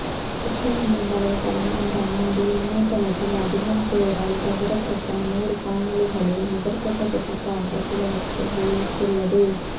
Jukin என்னும் வலைத்தளம் இந்த ஆண்டில் இணையத்தில் அதிகம் பேரால் பகிரப்பட்ட நூறு காணொளிகளில் முதற்கட்ட தொகுப்பாக சிலவற்றை வெளியிட்டுள்ளது